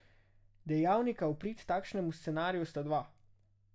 Dejavnika v prid takšnemu scenariju sta dva.